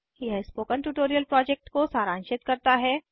यह spoken tutorial project को सारांशित करता है